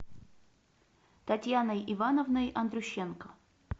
татьяной ивановной андрющенко